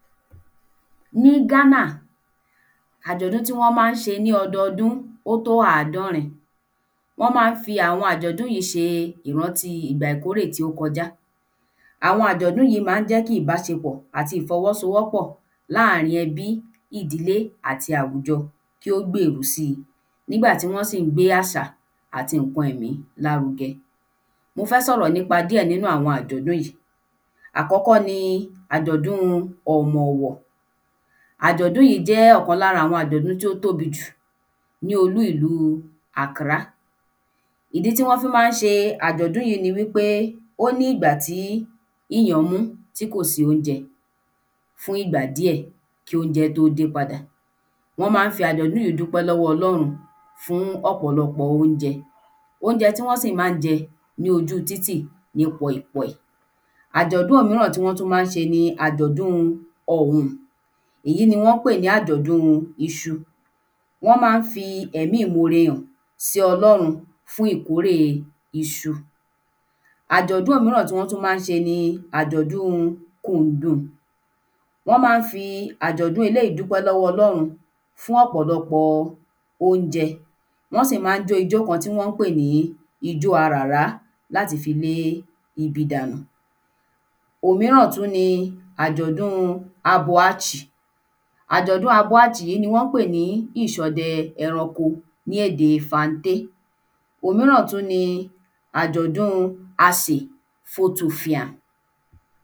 Ní Ghana àjọ̀dún tí wọ́n má ń ṣe ní ọdọdún ó tó àádọ́rin wọ́n má ń fi àwọn àjọ̀dún yí ṣe ìrántí ìgbà ìkórè tí ó kọ já àwọn àjọ̀dún má ń jẹ́ kí ìbáṣepọ̀ àti ìfọwọ́sowọ́pọ̀ láàrín ẹbí ìdílé àti àwùjọ ki ó gbèrú si nígba tí wọ́n sì ń gbé àṣà àti ǹkan ẹ̀mí lárugẹ mo fẹ́ sọ̀rọ̀ nípa díẹ̀ nínú àwọn àjọ̀dún àkọ́kọ́ ni àjọ̀dún-un Ọ̀mọ̀wọ̀ àjọ̀dún yí jẹ́ ọ̀kan lára àwọn àjọ̀dún tí ó tóbi jù ní olú ìlú Accra ìdí tí wọ́n fí má ń ṣe àjọ̀dún yí ni wí pé ó ní ìgbà tí íyàn mú tí kò sí óunjẹ fún ìgbà díẹ̀ kí óunjẹ tó dé padà wọ́n má ń fi àjọ̀dún yí dúpẹ́ lọ́wọ́ Ọlọ́run fún ọ̀pọ̀lọpọ̀ óunjẹ óunjẹ tí wọ́n sì má ń jẹ ní ojú títì ni pòìpòì àjọ̀dún míràn tí wọ́n tú má ń sẹ ni àjọ̀dún-un Ọ̀wùm èyí ni wọ́n pè ní àjọ̀dún-un iṣu wọ́n má ń fi ẹ̀mí ìmore hàn sí Ọlọ́run fún ìkórèe iṣu àjọ̀dún míràn tí wọ́n tú má ń sẹ ni àjọ̀dún-un kùndùn wọ́n má ń fi àjọ̀dún eléyí dúpẹ́ lọ́wọ́ Ọlọ́run fún ọ̀pọ̀lọpọ̀ óunjẹ wọ́n sì má ń jó ijó kan tí wọ́n pè ní ijó aràrá láti fi lé ibi dànù òmíràn tú ni àjọ̀dún-un Abọhátchì àjọ̀dún abọhátchì ni wọ́n pè ní ìṣọde ẹranko ní ède fanté òmíràn tú ni àjọ̀dún-un Asè fótofià